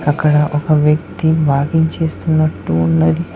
అక్కడ ఒక వ్యక్తి వాకింగ్ చేస్తున్నట్టు ఉన్నది.